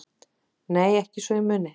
Nei ekki svo ég muni